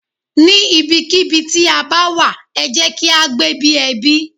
Ní ibi kí ibi tí a bá wà, ẹ jẹ́ kí á gbé bí ẹbí.